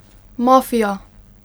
Mafija!